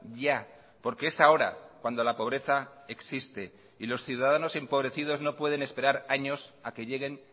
ya porque es ahora cuando la pobreza existe y los ciudadanos empobrecidos no pueden esperar años a que lleguen